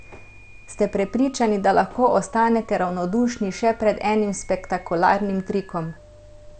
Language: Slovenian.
Ste prepričani, da lahko ostanete ravnodušni še pred enim spektakularnim trikom?